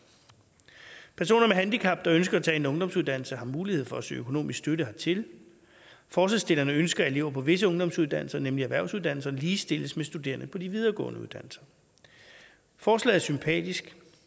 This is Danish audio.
personer med handicap der ønsker at tage en ungdomsuddannelse har mulighed for at søge økonomisk støtte hertil forslagsstillerne ønsker at elever på visse ungdomsuddannelser nemlig erhvervsuddannelser ligestilles med studerende på de videregående uddannelser forslaget er sympatisk